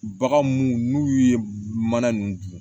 Bagan munnu n'u ye mana nunnu dun